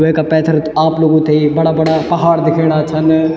वेका पैथर आप लोगों थे बड़ा- बड़ा पहाड़ दिख्येणा छन।